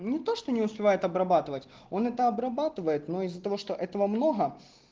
не то что не успевает обрабатывать он это обрабатывает но из-за того что этого много